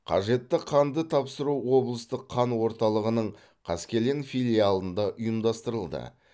қажетті қанды тапсыру облыстық қан орталығының қаскелең филиалында ұйымдастырылды